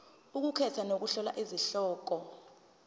ukukhetha nokuhlola izihloko